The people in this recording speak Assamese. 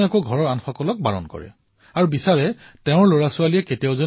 তেওঁলোকে জানে যে ধুমপানৰ ফলত ধঁপাতৰ ফলত শৰীৰৰ বৃহৎ ক্ষতি হয়